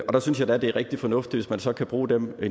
der synes jeg da det er rigtig fornuftigt hvis man så kan bruge dem